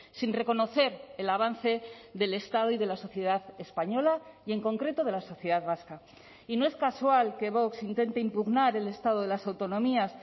sin reconocer el avance del estado y de la sociedad española y en concreto de la sociedad vasca y no es casual que vox intente impugnar el estado de las autonomías